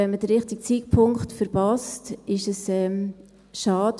Wenn man den richtigen Zeitpunkt verpasst, ist es eben schade.